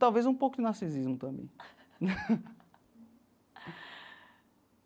Talvez um pouco de narcisismo também.